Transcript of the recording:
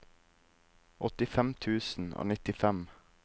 åttifem tusen og nittifem